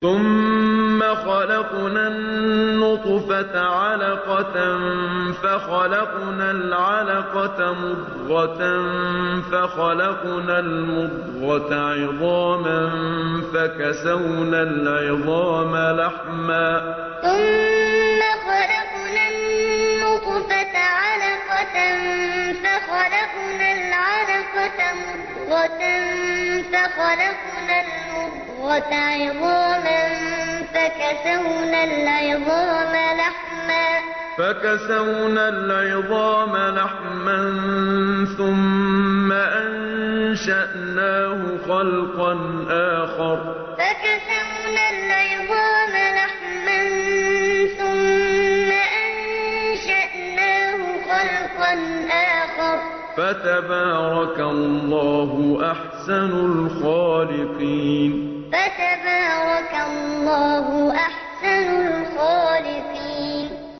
ثُمَّ خَلَقْنَا النُّطْفَةَ عَلَقَةً فَخَلَقْنَا الْعَلَقَةَ مُضْغَةً فَخَلَقْنَا الْمُضْغَةَ عِظَامًا فَكَسَوْنَا الْعِظَامَ لَحْمًا ثُمَّ أَنشَأْنَاهُ خَلْقًا آخَرَ ۚ فَتَبَارَكَ اللَّهُ أَحْسَنُ الْخَالِقِينَ ثُمَّ خَلَقْنَا النُّطْفَةَ عَلَقَةً فَخَلَقْنَا الْعَلَقَةَ مُضْغَةً فَخَلَقْنَا الْمُضْغَةَ عِظَامًا فَكَسَوْنَا الْعِظَامَ لَحْمًا ثُمَّ أَنشَأْنَاهُ خَلْقًا آخَرَ ۚ فَتَبَارَكَ اللَّهُ أَحْسَنُ الْخَالِقِينَ